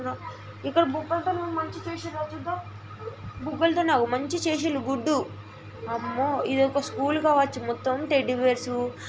ఇక్కడ బుబ్బల్తోన మంచి చేసిన్ర చూద్దాం బుబ్బల్తోన మంచి చేసింరు గుడ్డు అమ్మో ఇదొక స్కూల్ కావొచ్చు మొత్తం టెడ్డి బేర్సు --